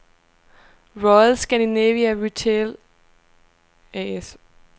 Royal Scandinavia Retail A/S